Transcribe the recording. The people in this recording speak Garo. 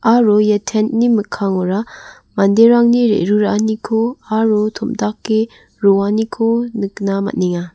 aro ia tent -ni mikkangora manderangni re·ruraaniko aro tom·dake roaniko nikna man·enga.